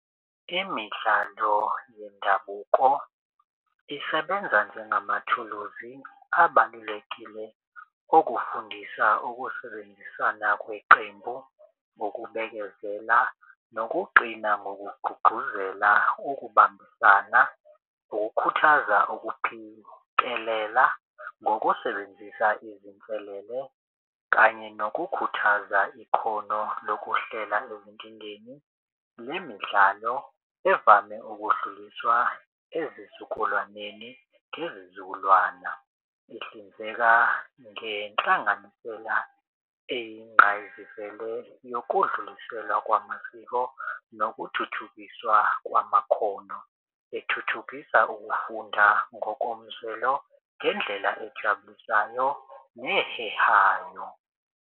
Imidlalo yendabuko isebenza njengamathuluzi abalulekile okufundisa ukusebenzisana kweqembu, ukubekezela nokuqina ngokugqugquzela ukubambisana, ukukhuthaza ukuphikelela ngokusebenzisa izinselele kanye nokukhuthaza ikhono lokuhlela ezinkingeni. Le midlalo evame ukudluliswa ezizukulwaneni ngezizukulwana. Ihlinzeka ngenhlanganisela eyingqayizivele yokudluliselwa kwamasiko, nokuthuthukiswa kwamakhono ethuthukisa ukufunda ngokomzwelo ngendlela ejabulisayo nehehayo.